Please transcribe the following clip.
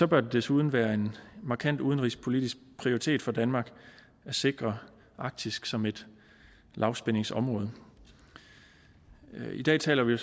bør det desuden være en markant udenrigspolitisk prioritet for danmark at sikre arktis som et lavspændingsområde i dag taler vi